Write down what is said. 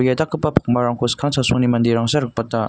ia dakgipa pakmarangko skang chasongni manderangsa rikbata.